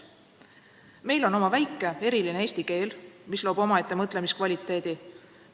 Meil on oma väike, eriline eesti keel, mis loob omaette mõtlemiskvaliteedi.